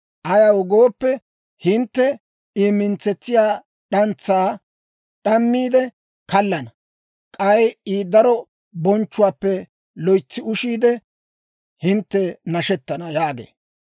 Ayaw gooppe, hintte I mintsetsiyaa d'antsaa d'ammiide kallana; k'ay I daro bonchchuwaappe loytsi ushiide, hintte nashettana» yaagee.